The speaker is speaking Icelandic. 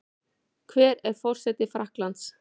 Hver er forseti Frakklands?